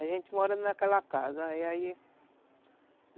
A gente mora naquela casa, aí